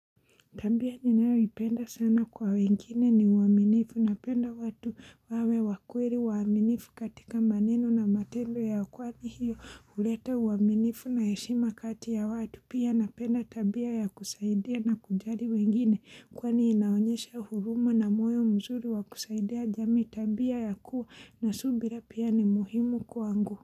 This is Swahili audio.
Tabia ninayoipenda sana kwa wengine ni uaminifu napenda watu wawe wakweli uaminifu katika maneno na matendo yao kwani hiyo uleta uaminifu na heshima kati ya watu pia napenda tabia ya kusaidia na kujali wengine kwani inaonyesha huruma na moyo mzuri wa kusaidia jamii tabia ya kuwa na subira pia ni muhimu kwangu.